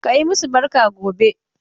Ka yi masu barka gobe.